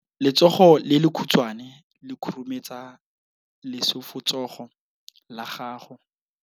Letsogo le lekhutshwane le khurumetsa lesufutsogo la gago.